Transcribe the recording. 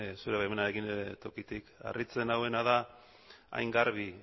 zure baimenarekin tokitik harritzen nauena da hain garbi